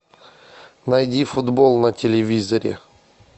найди футбол на телевизоре